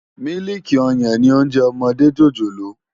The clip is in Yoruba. Mílìkí òyán ni óònjè òmòdé jójólóò